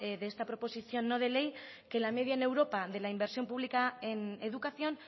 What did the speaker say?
de esta proposición no de ley que la media en europa de la inversión pública en educación